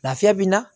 Lafiya bɛ n na